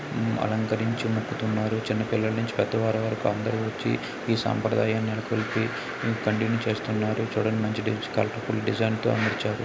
అలంకరించే మొక్కుతున్నారు. చిన్నపిల్లల నుంచి పెద్దవాళ్ల వరకు అందరూ వచ్చే ఈ సాంప్రదాయాన్ని నెలకొల్పే చూడండి. మంచి కలర్ ఫుల్ డిజైన్తో అమర్చారు.